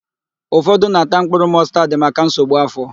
Ụfọdụ na-ata mkpụrụ mọstad maka nsogbu áfọ̀.